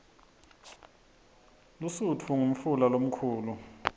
lusutfu ngumfula lomkhulu